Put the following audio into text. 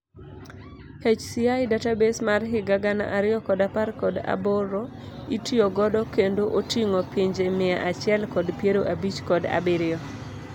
HCI database mar higa gana ariyo kod apar kod aboro itiyo godo kendo oting'o pinje mia achiel kod piero abich kod abirio.